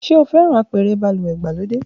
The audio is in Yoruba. Ṣe o fẹran apẹrẹ baluwe igbalode?